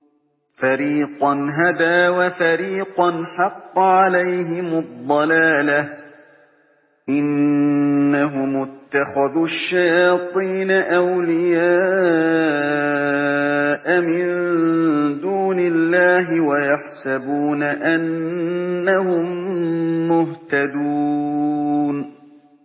فَرِيقًا هَدَىٰ وَفَرِيقًا حَقَّ عَلَيْهِمُ الضَّلَالَةُ ۗ إِنَّهُمُ اتَّخَذُوا الشَّيَاطِينَ أَوْلِيَاءَ مِن دُونِ اللَّهِ وَيَحْسَبُونَ أَنَّهُم مُّهْتَدُونَ